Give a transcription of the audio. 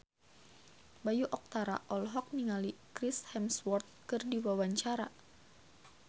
Bayu Octara olohok ningali Chris Hemsworth keur diwawancara